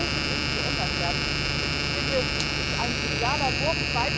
Das musste dringend geändert werden! Und ich finde, es ist ein genialer Wurf.